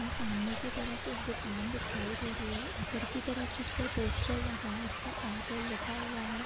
ये सामने के तरफ एक दुकान दिखाई दे रही है ऊपर की तरफ जिस पर पोस्टर लगा है उस पर एयरटेल लिखा हुआ है।